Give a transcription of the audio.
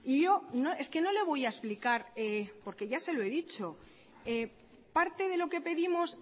yo es que no le voy a explicar por que ya se lo he dicho parte de lo que pedimos